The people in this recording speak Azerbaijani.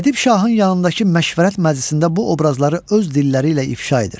Ədib Şahın yanındakı məşvərət məclisində bu obrazları öz dilləri ilə ifşa edir.